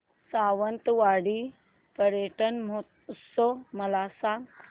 सावंतवाडी पर्यटन महोत्सव मला सांग